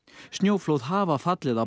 snjóflóð hafa fallið á